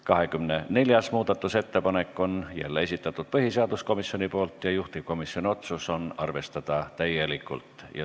24. muudatusettepaneku on jälle esitanud põhiseaduskomisjon ja juhtivkomisjoni otsus on arvestada täielikult.